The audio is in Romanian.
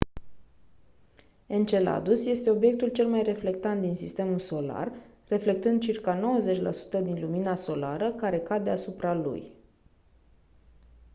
enceladus este obiectul cel mai reflectant din sistemul solar reflectând circa 90 la sută din lumina solară care cade asupra lui